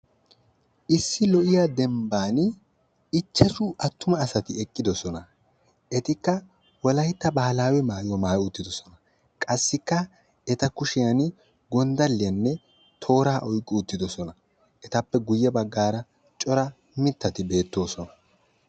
Issi lo''iyaa dembban ichashshu attuma asati eqqidoosona; etikka Wolaytta baahawe maayuwa maayyi uttidoosona, etikka kushiyaan gonddaliyaanne tooraa oyqqi uttidosona; etappe guyye baggara cora mittati beettoosona.